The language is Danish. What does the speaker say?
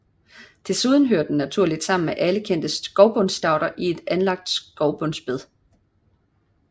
Desuden hører den naturligt sammen med alle de kendte skovbundsstauder i et anlagt skovbundsbed